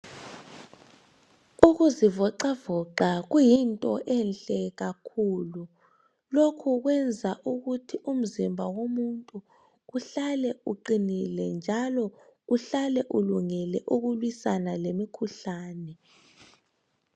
Ukuzivoxavoxa kuyinto enhle kakhulu. Lokhu kuyenza uku umzimba womuthu uhlale iqinile njalo uhlale ulungele ukulwisana lemikhuhlane.